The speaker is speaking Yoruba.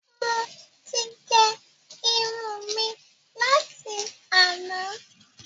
Mo ti gé irun mi láti àná